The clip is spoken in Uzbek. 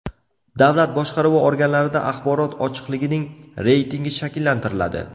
Davlat boshqaruvi organlarida axborot ochiqligining reytingi shakllantiriladi.